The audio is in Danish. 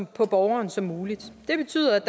på borgerne som muligt det betyder at